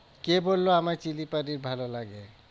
কে বললো আমায় চিলি পনির ভালো লাগে?